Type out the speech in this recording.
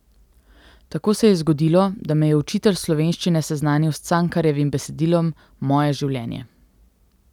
Tako se je zgodilo, da me je učitelj slovenščine seznanil s Cankarjevim besedilom Moje življenje.